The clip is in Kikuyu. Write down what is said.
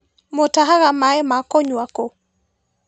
Mũtahaga maĩ ma kũnyua kũ?